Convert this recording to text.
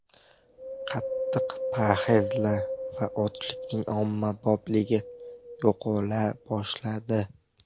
Qattiq parhezlar va ochlikning ommabopligi yo‘qola boshladi.